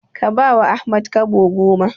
Ka bawa Ahmad Kobo goma.